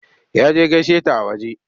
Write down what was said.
Ya je gaishe ta a waje.